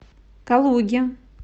калуге